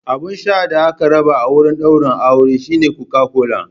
Abun sha da aka raba a wurin daurin auren shine Coca-Cola.